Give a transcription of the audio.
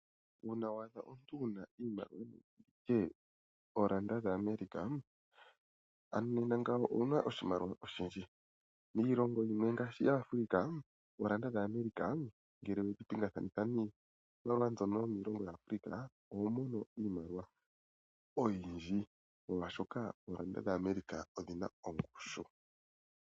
Uuna wa adha omuntu ihe wu na oolanda dhaAmerica ano nena ngawo owu na oshimaliwa oshindji. Miilongo yimwe ngaashi yaAfrika, oolanda dhaAmerica ngele we dhi pingakanithathana niimaliwa mbyoko yomiilongo yaAfrika, oho mono iimaliwa oyindji molwaashoka oolanda dhaAmerica odhi na ongushu.